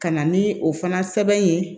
Ka na ni o fana sɛbɛn ye